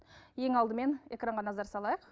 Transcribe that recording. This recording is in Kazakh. ең алдымен экранға назар салайық